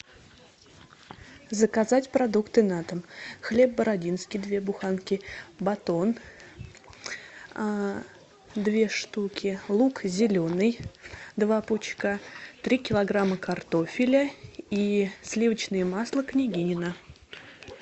заказать продукты на дом хлеб бородинский две буханки батон две штуки лук зеленый два пучка три килограмма картофеля и сливочное масло княгинино